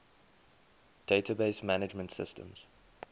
database management systems